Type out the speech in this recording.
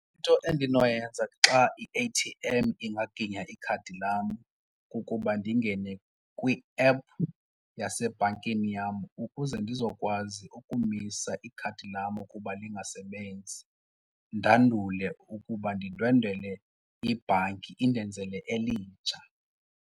Into endinoyenza xa i-A_T_M ingaginya ikhadi lam kukuba ndingene kwi-app yasebhankini yam ukuze ndizokwazi ukumisa ikhadi lam ukuba lingasebenzi. Ndandule ukuba ndindwendelwe ibhanki indenzele elitsha.